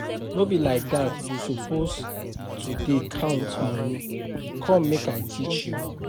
No be like dat you suppose to dey count money, come make I teach you